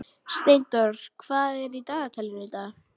Steindór, hvað er í dagatalinu í dag?